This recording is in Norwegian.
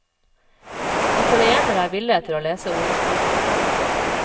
Italienere er ville etter å lese horoskoper.